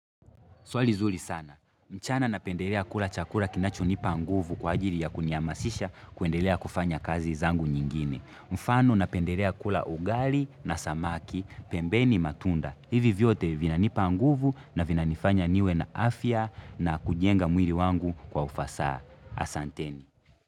Swali zuri sana mchana napendelea kula chakula kinacho nipa nguvu kwa ajili ya kunihamasisha kuendelea kufanya kazi zangu nyingine. Mfano napendelea kula ugali na samaki, pembeni matunda. Hivi vyote vina nipa nguvu na vina nifanya niwe na afya na kujenga mwili wangu kwa ufasaha. Asanteni.